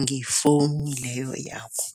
ngefowuni leyo yakho.